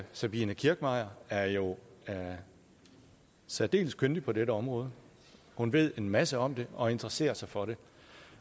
sabine kirchmeier er jo særdeles kyndig på dette område hun ved en masse om det og interesserer sig for det